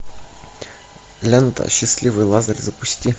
лента счастливый лазарь запусти